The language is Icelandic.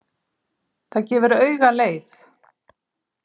Það gefur auga leið.